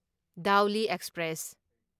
Dhauli express